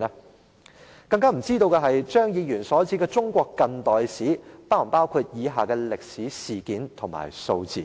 我更不知道張議員所指的"中國近代史"，是否包括以下的歷史事件和數字。